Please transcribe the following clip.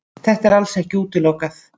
Þetta er alls ekki útilokað